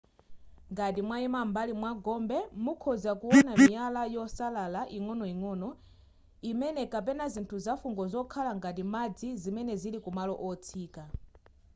ngati mwayima m'mbali mwa gombe mukhoza kuwona miyala yosalala ing'onoing'ono imene kapena zinthu zafungo zokhala ngati madzi zimene zili ku malo otsika